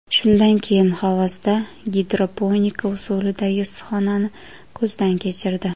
Shundan keyin Xovosda gidroponika usulidagi issiqxonani ko‘zdan kechirdi .